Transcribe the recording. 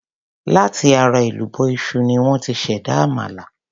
Láti ara èlùbọ́ iṣu ni wón ti ṣ'èdá àmàlà.